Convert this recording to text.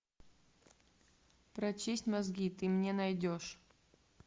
прочисть мозги ты мне найдешь